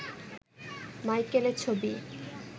মাইকেলের ছবি